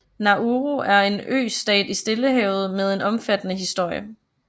Nauru er en østat i Stillehavet med en omfattende historie